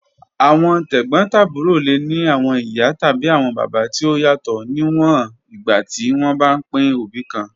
Awọn tegbotaburo le ni awọn iya tabi awọn baba ti o yatọ, niwọn igba ti wọn ba pin obi kan.